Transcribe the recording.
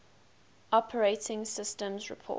operating systems report